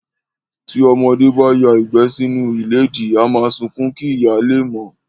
Tí ọmọdé bá ya ìgbẹ́ sínú ìdèdí, á máa sunkún kí ìyá lè mọ̀